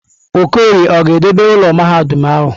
Okorie ọ ga-edobe ụlọ mahadum ahụ?